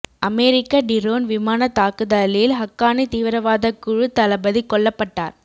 அமெரிக்க drone விமானத் தாக்குதலில் ஹக்கானி தீவிரவாதக் குழுத் தளபதி கொல்லப் பட்டார்